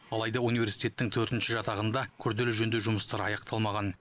алайда университеттің төртінші жатағында күрделі жөндеу жұмыстары аяқталмаған